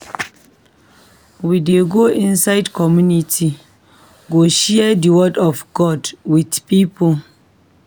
We dey go inside community go share di word of God wit pipo.